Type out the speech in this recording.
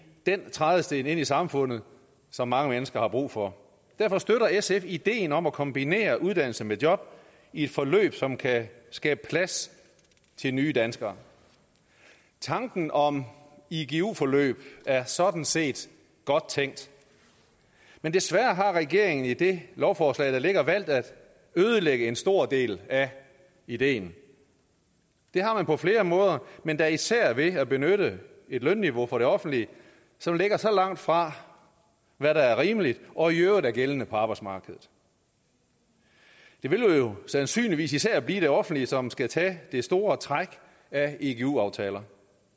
den trædesten ind i samfundet som mange mennesker har brug for derfor støtter sf ideen om at kombinere uddannelse med job i et forløb som kan skabe plads til nye danskere tanken om igu forløb er sådan set godt tænkt men desværre har regeringen i det lovforslag der ligger valgt at ødelægge en stor del af ideen det har man på flere måder men da især ved at benytte et lønniveau fra det offentlige som lægger så langt fra hvad der er rimeligt og i øvrigt er gældende på arbejdsmarkedet det vil jo sandsynligvis især blive det offentlige som skal tage det store træk af igu aftaler